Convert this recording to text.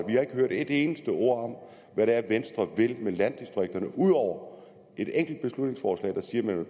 vi har ikke hørt et eneste ord om hvad det er venstre vil med landdistrikterne ud over et enkelt beslutningsforslag der siger at